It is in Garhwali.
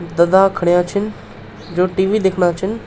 दादा खडयाँ छिन जो टी.वी. दिखणा छिन।